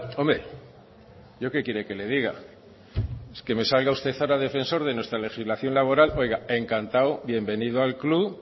hombre yo qué quiere que le diga es que me salga usted ahora defensor de nuestra legislación laboral oiga encantado bienvenido al club